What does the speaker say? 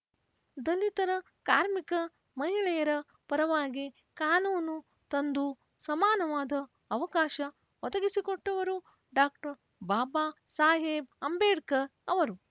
ದಲಿತರ ಕಾರ್ಮಿಕ ಮಹಿಳೆಯರ ಪರವಾಗಿ ಕಾನೂನು ತಂದು ಸಮಾನವಾದ ಅವಕಾಶ ಒದಗಿಸಿಕೊಟ್ಟವರು ಡಾಕ್ಟರ್ ಬಾಬಾ ಸಾಹೇಬ್‌ ಅಂಬೇಡ್ಕರ್‌ ಅವರು